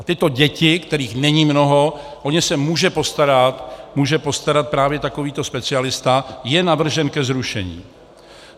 A tyto děti, kterých není mnoho, o ně se může postarat právě takovýto specialista - je navržen ke zrušení.